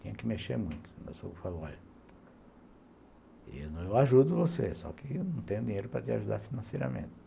Tinha que mexer muito, mas eu falo, olha, eu ajudo você, só que eu não tenho dinheiro para te ajudar financeiramente.